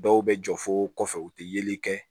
Dɔw bɛ jɔ fo kɔfɛ u tɛ yeli kɛ